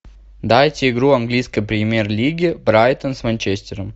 дайте игру английской премьер лиги брайтон с манчестером